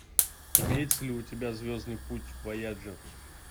имеется ли у тебя звездный путь вояджер